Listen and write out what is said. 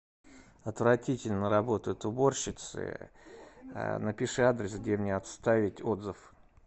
отвратительно работают уборщицы напиши адрес где мне оставить отзыв